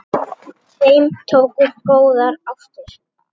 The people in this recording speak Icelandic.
Með þeim tókust góðar ástir.